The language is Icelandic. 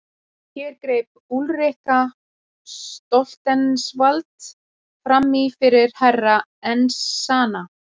Hér greip Úlrika Stoltzenwald framí fyrir Herra Enzana.